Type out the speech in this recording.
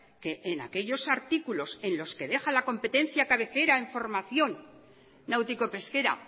que en aquellos artículos en los que deja la competencia cabecera en formación náutico pesquera